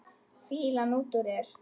Fýlan út úr þér!